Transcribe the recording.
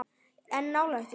En nálægt því.